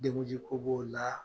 Denkuji ko b'o la